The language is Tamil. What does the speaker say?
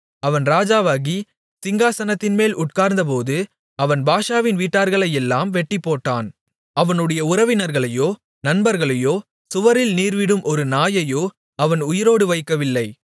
அவன் ராஜாவாகி சிங்காசனத்தின்மேல் உட்கார்ந்தபோது அவன் பாஷாவின் வீட்டார்களையெல்லாம் வெட்டிப்போட்டான் அவனுடைய உறவினர்களையோ நண்பர்களையோ சுவரில் நீர்விடும் ஒரு நாயையோ அவன் உயிரோடு வைக்கவில்லை